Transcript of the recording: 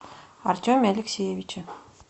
артеме алексеевиче